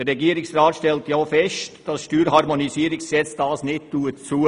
Der Regierungsrat stellt auch fest, dass das Steuerharmonisierungsgesetz das nicht zulässt.